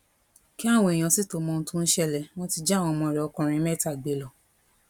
kí àwọn èèyàn sì tóó mọ ohun tó ń ṣẹlẹ wọn ti jí àwọn ọmọ rẹ ọkùnrin mẹta gbé lọ